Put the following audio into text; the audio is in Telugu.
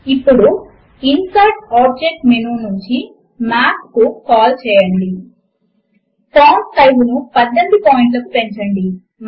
ఇప్పుడు ఇన్సెర్ట్ ఆబ్జెక్ట్ మెనూ నుంచి మాత్ ను కాల్ చేయండి ఫాంట్ సైజ్ ను 18 పాయింట్లకు పెంచండి